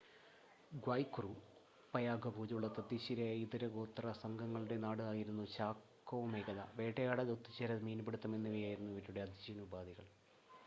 ഗ്വായ് കുറു Payagua പോലുള്ള തദ്ദേശീയരായ ഇതര ഗോത്ര സംഘങ്ങളുടെ നാട് ആയിരുന്നു ചാകോ മേഖല വേട്ടയാടൽ ഒത്തുചേരൽ മീൻപിടുത്തം എന്നിവ ആയിരുന്നു അവരുടെ അതിജീവന ഉപാധികൾ